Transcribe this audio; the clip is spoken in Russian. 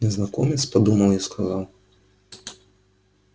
незнакомец подумал и сказал